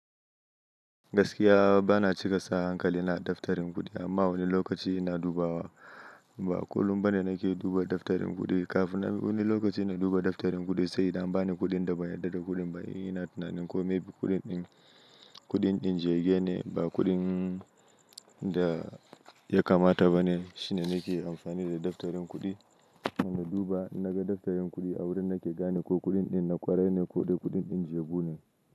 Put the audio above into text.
Gaskiya bana cika sa hankali na daftarin kuɗi amma wani lokaci ina dubawa. Ba kullum bane nake duba daftarin kuɗi kafin wani lokaci na duba daftarin kuɗi sai idan an bani kuɗin da ba yarda da kuɗin bane in ina tunanin ko maybe kuɗin ɗin kuɗin ɗin jega ne ba kuɗin da ya kamata bane shine nake amfani da daftarin kuɗi. Na duba in naga daftarin kuɗi a wurin nake gane ko kuɗin ɗin na kwarai ne ko dai kuɗin ɗin jebu ne.